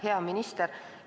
Hea minister!